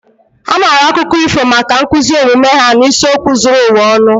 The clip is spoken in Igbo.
A maara akụkọ ifo maka nkuzi omume ha na isiokwu zuru ụwa ọnụ